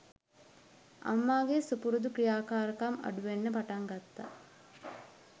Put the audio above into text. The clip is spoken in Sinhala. අම්මාගේ සුපුරුදු ක්‍රියාකාරකම් අඩු වෙන්න පටන් ගත්තා